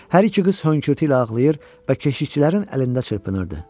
Hər iki qız hönkürtü ilə ağlayır və keşikçilərin əlində çırpınırdı.